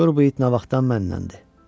Gör bu it nə vaxtdan məndəndir.